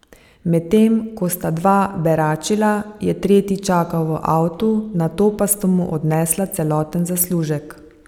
Medtem ko sta dva beračila, je tretji čakal v avtu, nato pa sta mu odnesla celoten zaslužek.